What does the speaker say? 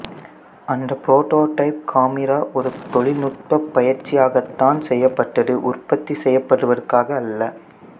அந்த prototype camera ஒரு தொழில் நுட்பப் பயிற்சியாகத்தான் செய்யப்பட்டது உற்பத்தி செய்யப்படுவதற்காக அல்ல